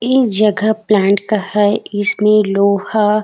ये जगह प्लांट का हैं इसमें लोहा